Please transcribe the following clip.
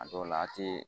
A dɔw la a ti